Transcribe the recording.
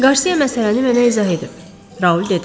Qarsiya məsələni mənə izah edib, Raul dedi.